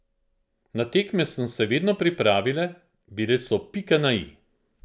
Na tekme sem se vedno pripravila, bile so pika na i.